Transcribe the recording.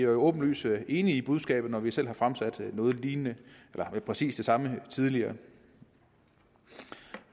åbenlyst enige i budskabet når vi selv har fremsat præcis det samme tidligere